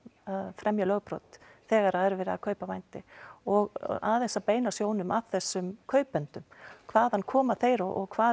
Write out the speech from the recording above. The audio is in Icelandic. fremja lögbrot þegar verið er að kaupa vændi og aðeins að beina sjónum að þessum kaupendum hvaðan koma þeir og hvað